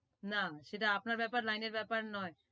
না সেটা আপনার ব্যাপার আর line এর ব্যাপার নয়